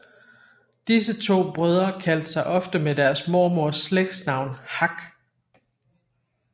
Disse to brødre kaldte sig ofte med deres mormoders slægtsnavn Hak